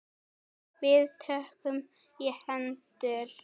Við tökumst í hendur.